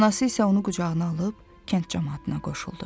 Anası isə onu qucağına alıb kənd camaatına qoşuldu.